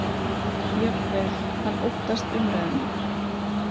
Jafnvel: Hann óttast umræðuna.